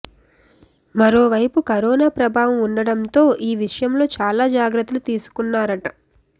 మరోవైపు కరోనా ప్రభావం ఉండటంతో ఈ విషయంలో చాలా జాగ్రత్తలు తీసుకున్నారట